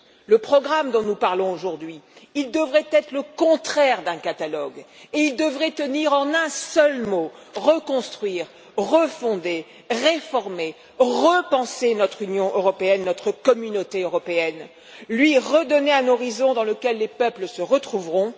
Le programme dont nous parlons aujourd'hui devrait être le contraire d'un catalogue, et il devrait tenir en un seul mot reconstruire, refonder, réformer, repenser notre Union européenne, notre communauté européenne, lui redonner un horizon dans lequel les peuples se retrouveront.